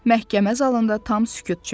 Məhkəmə zalında tam sükut çökdü.